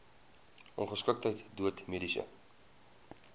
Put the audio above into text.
ongeskiktheid dood mediese